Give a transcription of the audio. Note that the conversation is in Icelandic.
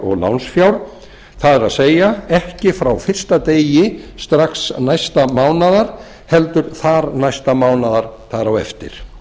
og lánsfjár það ekki frá fyrsta degi strax næsta mánaðar heldur næsta mánaðar þar á eftir